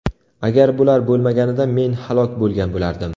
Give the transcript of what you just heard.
Agar bular bo‘lmaganida men halok bo‘lgan bo‘lardim.